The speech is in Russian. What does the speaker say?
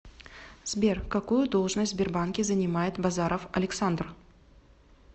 сбер какую должность в сбербанке занимает базаров александр